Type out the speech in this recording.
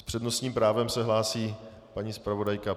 S přednostním právem se hlásí paní zpravodajka.